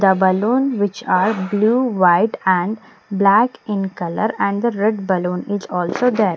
the balloon which are blue white and black in colour and the red balloon is also there.